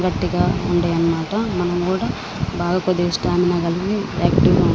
గట్టిగా ఉంటాయి అనమాట మనం కూడా బాగా స్టామినా కలిగి ఆక్టివ్ గా ఉంటాం.